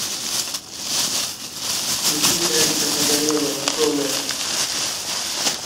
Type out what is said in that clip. включи гарика погорелова голая